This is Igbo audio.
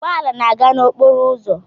Ụgbọ ala na-aga n'okporo ụzọ